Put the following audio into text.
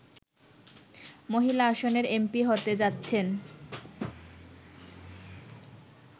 মহিলা আসনের এমপি হতে যাচ্ছেন